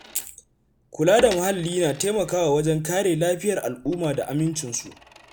Kula da muhalli na taimakawa wajen kare lafiyar al’umma da amincinsu.